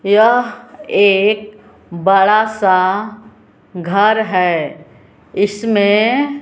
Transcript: यह एक बड़ा सा घर है इसमें--